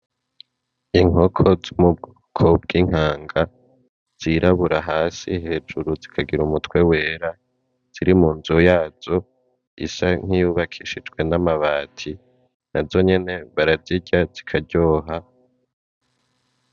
Inkoko zo mubwoko bw'inkanga zirabura hasi hejuru zikagira umutwe wera, ziri munzu yazo isa nkiyubakishijwe n'amabati nazonyene barazirya zikaryoha .